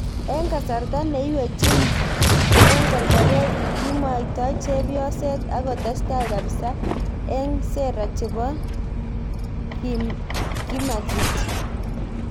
Ik kasarta neywech ik korgorret kimwaita chepyoset ak kotestai kapsa ik sera chebo kimaxit.